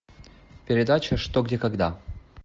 передача что где когда